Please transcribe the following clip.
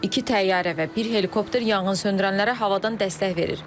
İki təyyarə və bir helikopter yanğınsöndürənlərə havadan dəstək verir.